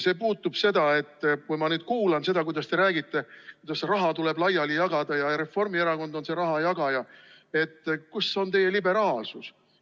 See puudutab seda, et kui ma kuulan, mis te räägite, kuidas raha tuleb laiali jagada ja Reformierakond on see rahajagaja, siis ma mõtlen, kus on teie liberaalsus.